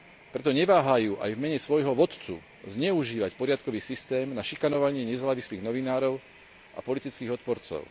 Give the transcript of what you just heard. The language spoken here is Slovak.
Preto neváhajú aj v mene svojho vodcu zneužívať poriadkový systém na šikanovanie nezávislých novinárov a politických odporcov.